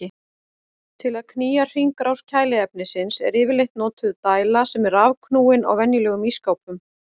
Til að knýja hringrás kæliefnisins er yfirleitt notuð dæla sem er rafknúin á venjulegum ísskápum.